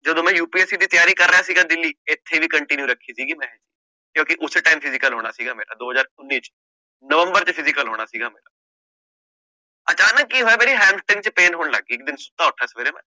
ਜਦੋਂ ਮੈਂ UPSC ਦੀ ਤਿਆਰੀ ਕਰ ਰਿਹਾ ਸੀਗਾ ਦਿੱਲੀ ਇੱਥੇ ਵੀ continue ਰੱਖੀ ਸੀਗੀ ਮੈਂ ਕਿਉਂਕਿ ਉਸੇ time ਚ physical ਹੋਣਾ ਸੀਗਾ ਮੇਰਾ ਦੋ ਹਜ਼ਾਰ ਉੱਨੀ ਚ ਨਵੰਬਰ ਚ physical ਹੋਣਾ ਸੀਗਾ ਅਚਾਨਕ ਕੀ ਹੋਇਆ ਮੇਰੇ ਚ pain ਹੋਣ ਲੱਗ ਗਈ ਇੱਕ ਦਿਨ ਸੁੱਤਾ ਉੱਠਿਆ ਸਵੇਰੇ ਮੈਂ।